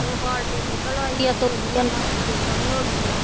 ਬਾਲਟੇ ਨਿਕਲ ਆਈ ਹੈ ਧੋ ਲਈ ਇਹਨਾਂ, ਬੜੀ ਸੋਹਣੀ ਹੋ ਗਈ ਆ।